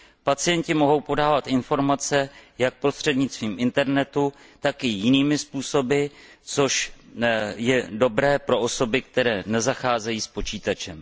Pacienti mohou podávat informace jak prostřednictvím internetu, tak i jinými způsoby, což je dobré pro osoby, které nezacházejí s počítačem.